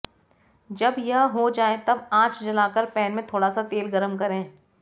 जब यह हो जाए तब आंच जला कर पैन में थोड़ा सा तेल गरम करें